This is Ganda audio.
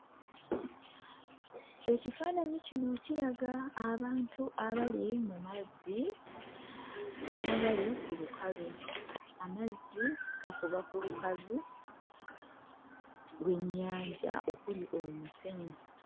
Ekifaananyi kino kiraga abantu abali mu mazzi n'abali ku lukalu. Amazzi gakuba ku lukalu lw'ennyanja okuli omusenyu.